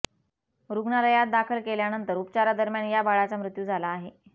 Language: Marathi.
रुग्णालयात दाखल केल्यानंतर उपचारदरम्यान या बाळाचा मृत्यू झाला आहे